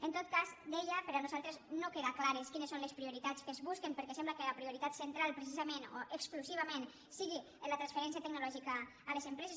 en tot cas deia per nosaltres no queda clar quines són les prioritats que es busquen perquè sembla que la prioritat central precisament o exclusivament sigui la transferència tecnològica a les empreses